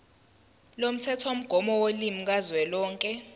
lomthethomgomo wolimi kazwelonke